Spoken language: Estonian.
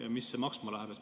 Ja mis see maksma läheb?